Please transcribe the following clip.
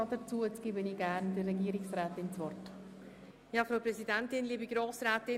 Frau Regierungsrätin Simon hat das Wort.